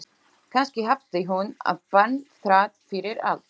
Kannski hafði hún átt barn þrátt fyrir allt.